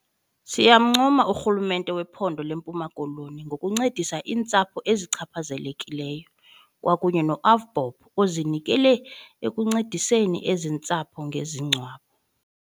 Siyamncoma urhulumente wephondo leMpuma Koloni ngokuncedisa iintsapho ezichaphazelekileyo, kwakunye no-AVBOB ozinikele ekuncediseni ezi ntsapho ngezingcwabo.